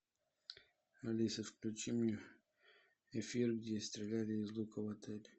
алиса включи мне эфир где стреляли из лука в отеле